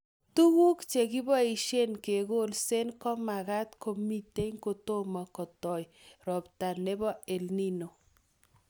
Tuguk che koboisie kekolsee komakat komitei kotomo kotoi robta nebo EL Nino